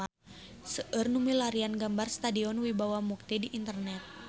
Seueur nu milarian gambar Stadion Wibawa Mukti di internet